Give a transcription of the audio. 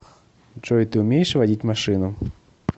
джой ты умеешь водить машину